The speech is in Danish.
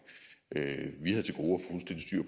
vi havde til gode